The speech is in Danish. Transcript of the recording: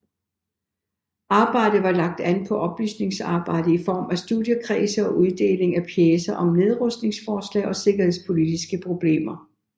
Arbejdet var lagt an på oplysningsarbejde i form af studiekredse og uddeling af pjecer om nedrustningsforslag og sikkerhedspolitiske problemer